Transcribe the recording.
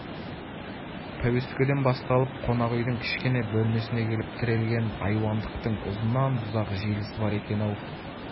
пәуескеден басталып қонақ үйдің кішкене бөлмесіне келіп тірелген айуандықтың ұзыннан-ұзақ желісі бар екен-ау